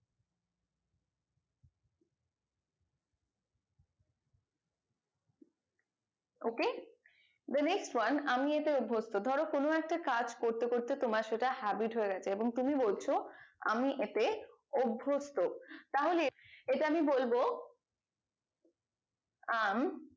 ok the next one আমি এতে অভ্যস্ত ধরো কোনো একটা কাজ করতে করতে তোমার সেটা habit হয়ে গেছে এবং তুমি বলছো আমি এতে অভ্যস্ত তাহলে এটা আমি বলবো i am